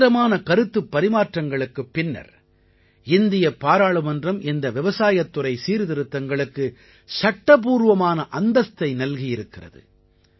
தீவிரமான கருத்துப் பரிமாற்றங்களுக்குப் பின்னர் இந்தியப் பாராளுமன்றம் இந்த விவசாயத்துறை சீர்திருத்தங்களுக்கு சட்டப்பூர்வமான அந்தஸ்தை நல்கியிருக்கிறது